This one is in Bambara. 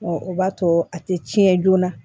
o b'a to a tɛ tiɲɛ joona